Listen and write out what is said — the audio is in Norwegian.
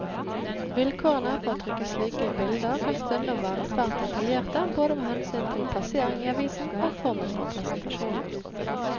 Vilkårene for å trykke slike bilder kan stundom være svært detaljerte både med hensyn til plassering i avisen og formen på presentasjonen.